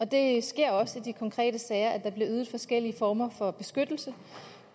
det sker også i de konkrete sager at der bliver ydet forskellige former for beskyttelse